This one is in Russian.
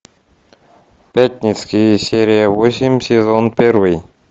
пятницкий серия восемь сезон первый